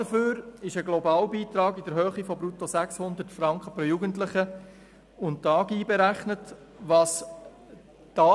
Dafür ist ein Globalbeitrag in der Höhe von brutto 600 Franken pro Jugendlichen und